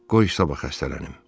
Qoy sabah xəstələnim.